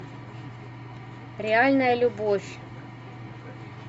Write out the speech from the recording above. реальная любовь